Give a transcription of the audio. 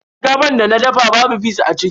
Shinkafar da na dafa babu fis a ciki.